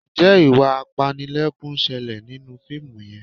Ǹjẹ́ ìwà apanilẹ́kún ń ṣẹlẹ̀ nínú fíìmù yẹn?